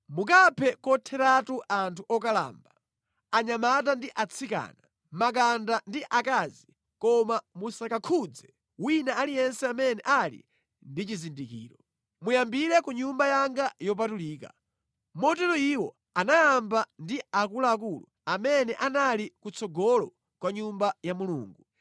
Mukaphe kotheratu anthu okalamba, anyamata ndi atsikana, makanda ndi akazi koma musakakhudze wina aliyense amene ali ndi chizindikiro. Muyambire ku Nyumba yanga yopatulika.” Motero iwo anayamba ndi akuluakulu amene anali kutsogolo kwa Nyumba ya Mulungu.